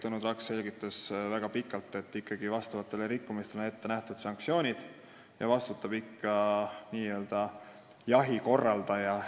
Tõnu Traks selgitas tegelikult väga pikalt, et vastavate rikkumiste eest on ette nähtud sanktsioonid ja vastutab ikkagi jahi korraldaja.